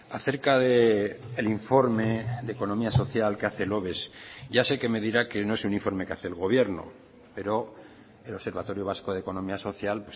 acerca del informe de economía social que hace el oves ya sé que me dirá que no es un informe que hace el gobierno pero el observatorio vasco de economía social